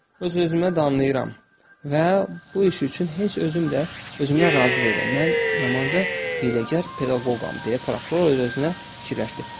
Öz-özümə danlayıram və bu iş üçün heç özüm də özümdən razı deyiləm, mən yamanca hiyləgər pedaqoqam, deyə prokuror öz-özünə fikirləşdi.